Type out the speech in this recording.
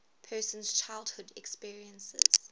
person's childhood experiences